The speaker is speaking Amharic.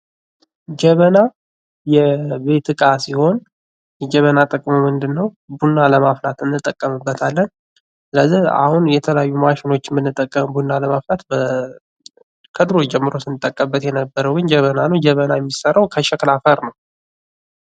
ጀበና የቤት እቃ ሲሆን የጀበና ጥቅሙ ምንድነው? ቡና ለማፍላት እንጠቀምበታለን። ስለዚህ አሁን የተለያዩ ማሽኖችን የምንጠቀምበት ቡና ለማፍላት ከድሮ ጀምሮ ስንጠቀምበት የነበረውን ጀበና ነው። ጀበና የሚሰራው ከሸክላ አፈር ነው።